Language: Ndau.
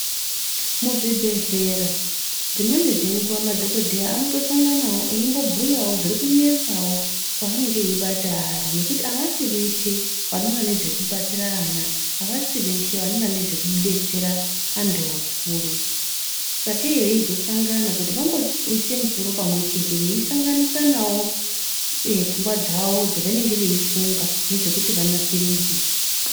Muzvibhedhlera dzimweni dzenguva madhogodheya anotosanganawo eimbobhuyawo zvirikunetsawo kweanenge eibata ari nekuti avasi veshe vanoona nezvekudetserera ana, avasi veshe vanoona nezvekudetsera antu akuru, sakei veizosangana kuti vamboise misoro pamwechete veisanganisanawo pfungwa dzavo dzevanenge veifunga nezvekuti vanasiridze.